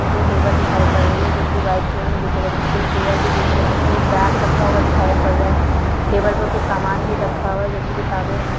सामने दो टेबल दिखाई पड़ रही हैं जोकि व्हाइट कलर में दिख रही हैं दो चेयर भी दिख रही हैं एक बेग रखा हुआ दिखाई पड़ रहा है टेबल पर कुछ सामान भी रखा हुआ है जो की किताबे हैं।